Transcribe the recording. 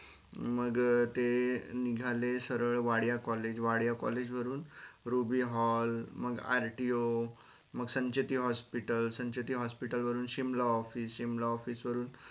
मग ते निघाले सरळ वाडिया college वाडिया college वरून Ruby hall मग RTO मग संचेती hospital संचेती hospital वरुन simla officesimla office वरून